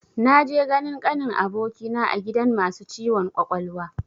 Na je ganin kanin abokina a gidan masu ciwon kwakwalwa